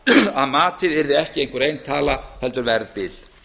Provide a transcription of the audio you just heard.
að matið yrði ekki einhver ein tala heldur verðbil